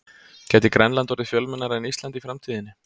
Gæti Grænland orðið fjölmennara en Ísland í framtíðinni?